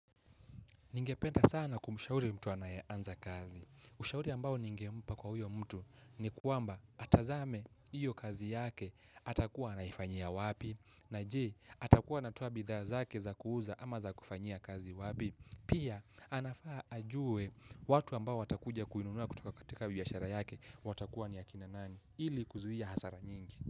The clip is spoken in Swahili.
Ningependa sana kumshauri mtu anayeanza kazi. Ushauri ambao ningempa kwa huyo mtu ni kwamba atazame iyo kazi yake atakuwa anaifanyia wapi. Na je, atakuwa anatoa bidhaa zake za kuuza ama za kufanyia kazi wapi. Pia, anafaa ajue watu ambao watakuja kuinunua kutoka katika biashara yake watakuwa ni ylakina nani. Ili kuzuhia hasara nyingi.